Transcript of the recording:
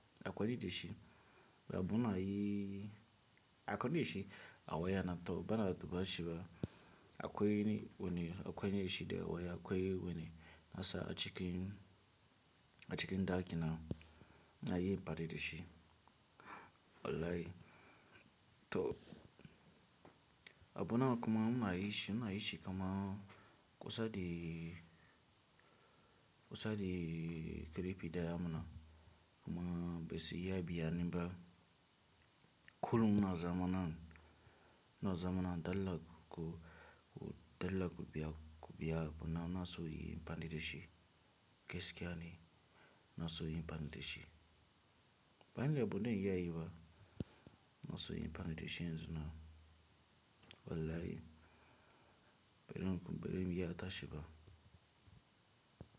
Akwaini dashi abuna yi akwaini dashi a wayana a kwai wane, a kwane da shi da waya, a kwane wane nasa a cikin, a cikin ɗakin na yi amfani da shi. Wallahi to a abunawa kuma muna yi shi, muna yi shi kuma kusa da, kusa da karifi daya muna kuma bai saya biya na ba. Kullum muna zamana, muna zamana dalla ko, ko dalla ko biya, ko biya bunawa nasa yayi amfani da shi. Gaskiya ni ina inyi amfani dashi. Ban lyaɓu don ya yi ba nasa in so in amfani da shi yanzu na. Wallahi barim, barim iya tashi ba.